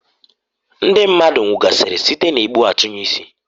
Ndi mmadu nwugasịrị site n' egbu-atunye-isi.